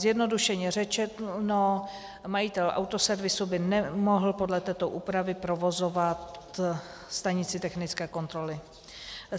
Zjednodušeně řečeno - majitel autoservisu by nemohl podle této úpravy provozovat stanici technické kontroly.